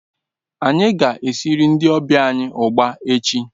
Anyi ga esiri ndi obia anyi ugba echi